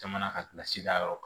Jamana ka da yɔrɔ kan